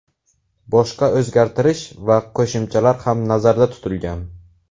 Boshqa o‘zgartirish va qo‘shimchalar ham nazarda tutilgan.